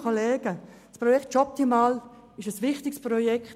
Das Projekt Jobtimal ist ein wichtiges Projekt.